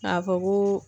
K'a fɔ ko